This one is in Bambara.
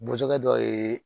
Bɔtɛkɛ dɔ ye